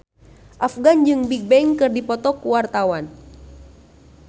Afgan jeung Bigbang keur dipoto ku wartawan